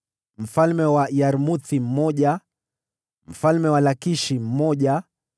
mfalme wa Yarmuthi mmoja mfalme wa Lakishi mmoja